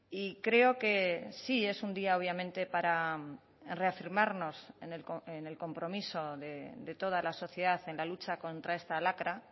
y creo que sí es un día obviamente para reafirmarnos en el compromiso de toda la sociedad en la lucha contra esta lacra